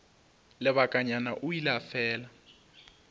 lebakanyana o ile a fela